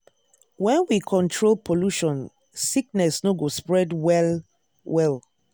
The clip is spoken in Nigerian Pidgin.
when we control pollution sickness no go spread well-well.